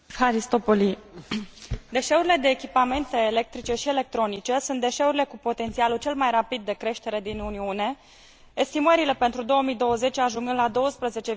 Deșeurile de echipamente electrice și electronice sunt deșeurile cu potențialul cel mai rapid de creștere din Uniune, estimările pentru 2020 ajungând la 12,3 milioane de tone.